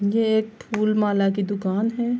یہ ایک پھولملا کی دکان ہے۔